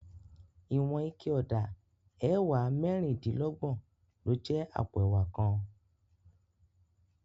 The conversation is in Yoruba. Iwòn iké òdá èwá mèrindilògbòn ló jè àpó èwá kán